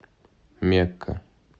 мекка